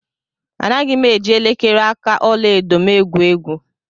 Anaghị m eji elekere aka ọla edo m egwu egwu.